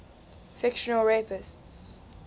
fictional rapists